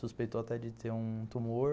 Suspeitou até de ter um tumor.